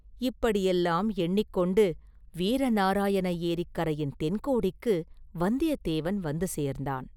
இப்படியெல்லாம் எண்ணிக் கொண்டு வீர நாராயண ஏரிக் கரையின் தென்கோடிக்கு வந்தியத்தேவன் வந்து சேர்ந்தான்.